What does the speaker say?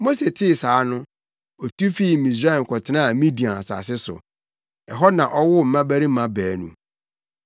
Mose tee saa no, otu fii Misraim kɔtenaa Midian asase so. Ɛhɔ na ɔwoo mmabarima baanu.